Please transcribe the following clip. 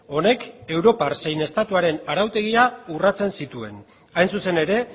honek europar zein estatuaren arautegia urratzen zituen hain zuzen ere